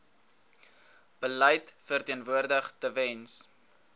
beleid verteenwoordig tewens